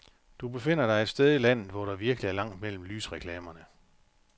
Du befinder dig et sted i landet, hvor der virkelig er langt mellem lysreklamerne.